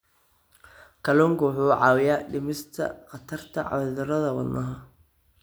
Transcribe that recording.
Kalluunku waxa uu caawiyaa dhimista khatarta cudurrada wadnaha.